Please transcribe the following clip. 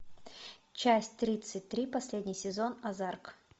часть тридцать три последний сезон озарк